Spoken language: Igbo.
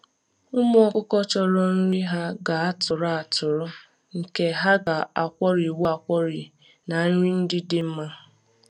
Ụmụ ọkụkọ chọrọ nri ha ga-atụrụ atụrụ, nke ha ga-akwọrịnwu akwọrị na nri ndị dị mma